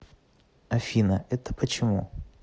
афина это почему